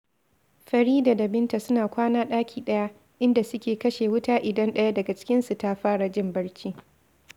Farida da Binta suna kwana ɗaki ɗaya, inda suke kashe wuta idan ɗaya daga cikinsu ta fara jin barci